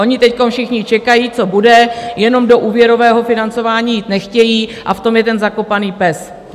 Oni teď všichni čekají, co bude, jenom do úvěrového financování jít nechtějí, a v tom je ten zakopaný pes.